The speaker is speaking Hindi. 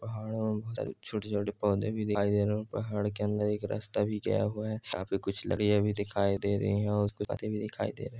पहाड़ों में बहोत सारे छोटे छोटे पौधे भी दिखाई दे रहे हैं और पहाड़ के अंदर एक रस्ता भी गया हुआ है काफी कुछ भी दिखाई दे रही हैं और ]